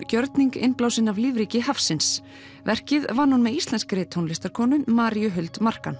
gjörning innblásinn af lífríki hafsins verkið vann hún með íslenskri Maríu Huld Markan